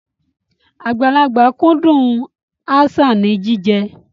Àgbàlagbà kúndùn aṣáà ní jíjẹ.